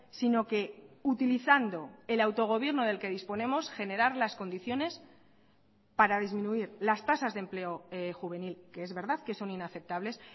sino que utilizando el autogobierno del que disponemos generar las condiciones para disminuir las tasas de empleo juvenil que es verdad que son inaceptables